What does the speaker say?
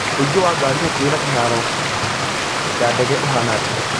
ũingĩ wa ngarii hakuhĩ na kĩharo ya ndege ũhaana atĩa